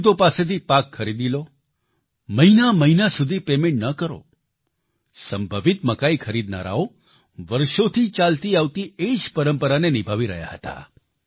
ખેડૂતો પાસેથી પાક ખરીદી લો મહિના મહિના સુધી પેમેન્ટ ન કરો સંભવિત મકાઈ ખરીદનારાઓ વર્ષોથી ચાલતી આવતી એ જ પરંપરાને નિભાવી રહ્યા હતા